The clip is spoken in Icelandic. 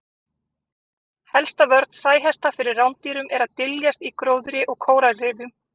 Helsta vörn sæhesta fyrir rándýrum er að dyljast í gróðri og kóralrifjum.